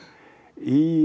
í